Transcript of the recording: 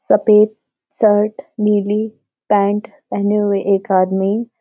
सफेद शर्ट नीली पैंट पहने एक हुए आदमी --